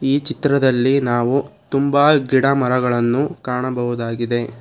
ಈ ಚಿತ್ರದಲ್ಲಿ ನಾವು ತುಂಬಾ ಗಿಡಮರಗಳನ್ನು ಕಾಣಬಹುದಾಗಿದೆ.